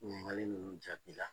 Ŋininkali nunnu jaabi la